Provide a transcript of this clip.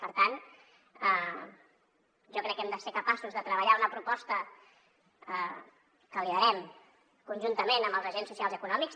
per tant jo crec que hem de ser capaços de treballar una proposta que liderem conjuntament amb els agents socials i econòmics